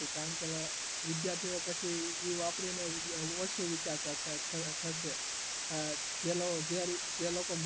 વિદ્યાર્થી એ પછી વાપરીને ઓછું વિચારતા થશે